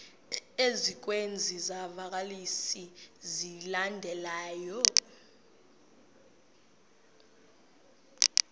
ezikwezi zivakalisi zilandelayo